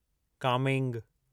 Kameng